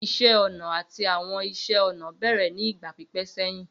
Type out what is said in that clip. Iṣẹ ọna ati Awọn iṣẹ-ọnà bẹrẹ ni igba pipẹ sẹhin.